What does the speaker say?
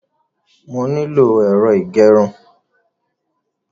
Mo nílò ẹ̀rọ ìgẹrun.